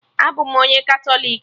Abụ m onye Katọlik